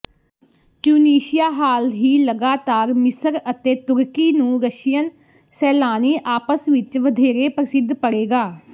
Tunisia ਹਾਲ ਹੀ ਲਗਾਤਾਰ ਮਿਸਰ ਅਤੇ ਤੁਰਕੀ ਨੂੰ ਰਸ਼ੀਅਨ ਸੈਲਾਨੀ ਆਪਸ ਵਿੱਚ ਵਧੇਰੇ ਪ੍ਰਸਿੱਧ ਪੜੇਗਾ